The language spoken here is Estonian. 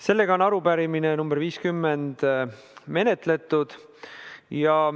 Sellega on arupärimine nr 50 menetletud.